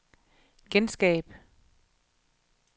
genskab